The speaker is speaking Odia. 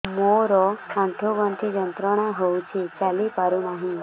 ମୋରୋ ଆଣ୍ଠୁଗଣ୍ଠି ଯନ୍ତ୍ରଣା ହଉଚି ଚାଲିପାରୁନାହିଁ